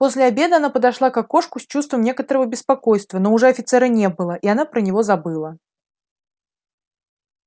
после обеда она подошла к окошку с чувством некоторого беспокойства но уже офицера не было и она про него забыла